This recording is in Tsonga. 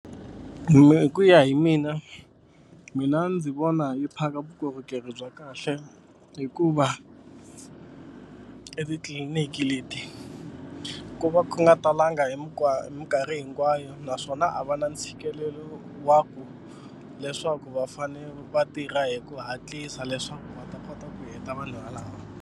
hi ku ya hi mina mina ndzi vona yi phaka vukorhokeri bya kahle hikuva etitliliniki leti ku va nga talanga hi mikarhi hinkwayo naswona a va na ntshikelelo wa ku leswaku va fane va tirha hi ku hatlisa leswaku va ta kota ku heta vanhu valava.